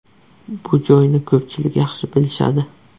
Bu joyni ko‘pchilik yaxshi bilishadi.